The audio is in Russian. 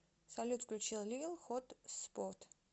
салют включи лил хотспот